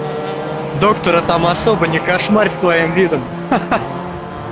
доктор а там особо не кошмарь своим видом хи-хи